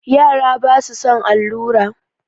Yara basu son allura.